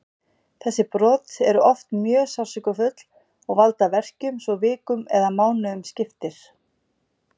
Þessi brot eru oft mjög sársaukafull og valda verkjum svo vikum eða mánuðum skiptir.